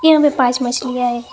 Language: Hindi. यहां पे पांच मछलियां है।